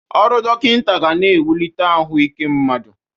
Ọrụ dọkịnta ga na-ewulite ahụ ike mmadụ.